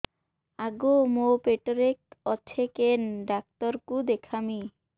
ଆଗୋ ମୁଁ ପେଟରେ ଅଛେ କେନ୍ ଡାକ୍ତର କୁ ଦେଖାମି